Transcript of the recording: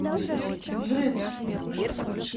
взрыв